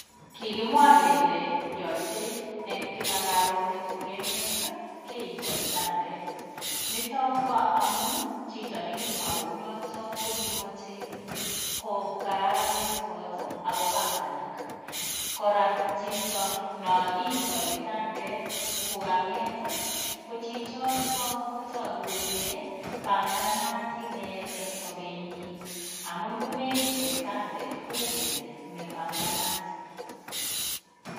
Kikimwa kele yochei eng karonet kokeng'et keitoi kitandet noto ko amun chito nekimwaa kounoto kokimachei kokararanit kot akopanganak kora chito noo iitoi kitandet kokang'et ko chichoto koku kole panganat ine eng sobenyii amun ngomeite kitandet kou kele mepanganat